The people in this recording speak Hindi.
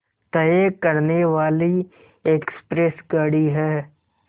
तय करने वाली एक्सप्रेस गाड़ी है